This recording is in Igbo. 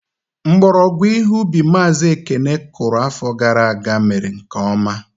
Mgbọrọgwụ ihe ubi Mazi Ekene kụrụ afọ gara aga mere nke ọma.